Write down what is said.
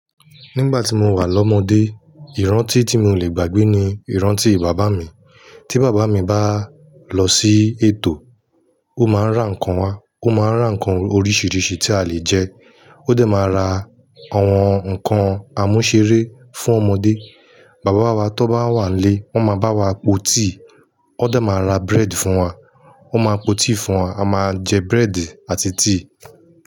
Nígbà tí mo wà lọ́mọdé, ìrántí tí mi ò leè gbàgbé ni ìrántí bàbá mi. Tí bàbá mi bá lọ sí ètò, ó máa ń ra nǹkan wá. Ó máa ń ra nǹkan oríṣiríṣi tí a le jẹ. Ó dà máa ra àwọn nǹkan àmúṣẹré fún ọmọdé. Bàbá wa tó bá wà lé, wọ́n máa bá wa po tíì. Ọ̀ dà máa ra búrẹ́dì fún wa. Ó máa po tíì fún wa, a máa jẹ búrẹ́dì àti tíì.